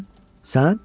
Sən?